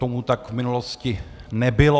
Tomu tak v minulosti nebylo.